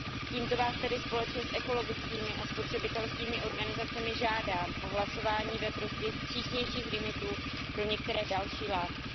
Tímto vás tedy společně s ekologickými a spotřebitelskými organizacemi žádám o hlasování ve prospěch přísnějších limitů pro některé další látky.